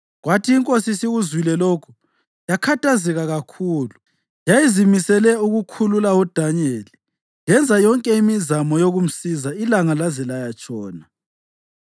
Kwathi inkosi isikuzwile lokho yakhathazeka kakhulu; yayizimisele ukukhulula uDanyeli, yenza yonke imizamo yokumsiza ilanga laze layatshona.